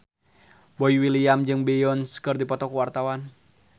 Boy William jeung Beyonce keur dipoto ku wartawan